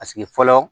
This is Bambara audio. Paseke fɔlɔ